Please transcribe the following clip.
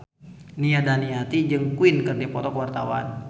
Nia Daniati jeung Queen keur dipoto ku wartawan